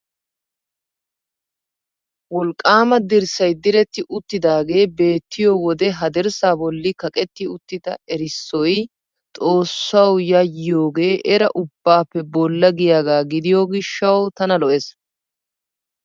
Wolqqaama dirssay diretti uttidaagee beettiyo wode ha dirssaa bolli kaqetti uttida erissoy X oossawu yayyiyogee era ubbaappe bolla giyagaa gidiyo gishshawu tana lo"ees.